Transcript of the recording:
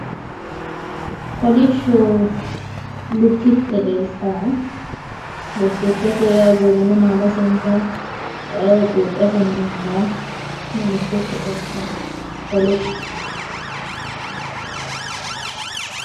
Kolishsho lukkitte leeltaae lukkittete yawu gorrine maalase intanni ee quupheseno intanni ina lukkitte leeltaae kolishsho.